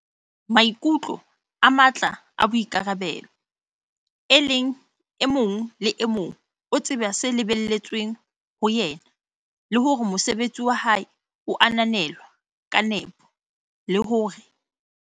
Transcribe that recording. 4, Maikutlo a matla a boikarabelo, e leng e mong le e mong o tseba se lebelletsweng ho yena le hore mosebetsi wa hae o ananelwa ka nepo, le hore